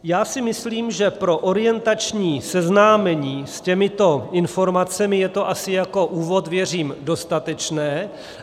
Já si myslím, že pro orientační seznámení s těmito informacemi je to asi jako úvod, věřím, dostatečné.